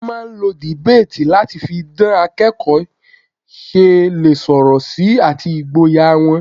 Wọ́n máà ń lo debate láti fi dan bí akẹ́kọ̀ọ́ ṣe lè sọ̀rọ̀ sí àti ìgboyà wọn.